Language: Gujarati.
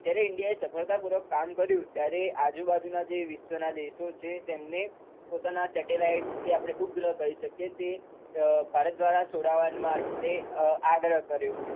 જ્યારે ઈન્ડિયાએ સફળતા પુર્વક કામ કર્યુ ત્યારે આજુબાજુના જે વિશ્વના દેશો છે તેમને પોતાના સેટેલાઈટ જે આપણે ઉપગ્રહ કઈ શકીએ તે ભારત દ્રારા છોડાવવા માટે આગ્રહ કર્યો.